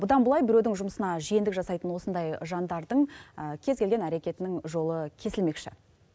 бұдан былай біреудің жұмысына жиендік жасайтын осындай жандардың кез келген әрекетінің жолы кесілмекші